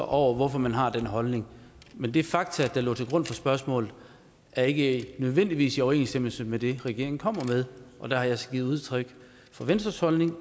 over hvorfor man har den holdning men de fakta der lå til grund for spørgsmålet er ikke nødvendigvis i overensstemmelse med det regeringen kommer med der har jeg så givet udtryk for venstres holdning